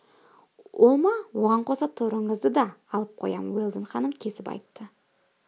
ол ма оған қоса торыңызды да алып қоям уэлдон ханым кесіп айтты